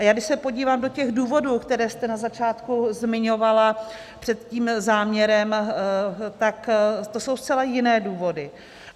A já když se podívám do těch důvodů, které jste na začátku zmiňovala před tím záměrem, tak to jsou zcela jiné důvody.